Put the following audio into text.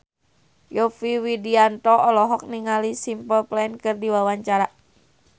Yovie Widianto olohok ningali Simple Plan keur diwawancara